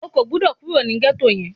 O kò gbọ́dọ̀ kúrò ní gẹ́tò yẹn!